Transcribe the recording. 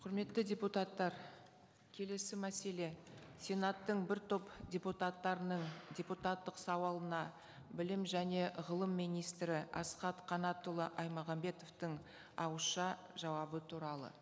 құрметті депутаттар келесі мәселе сенаттың бір топ депутаттарының депутаттық сауалына білім және ғылым министрі асхат қанатұлы аймағамбетовтің ауызша жауабы туралы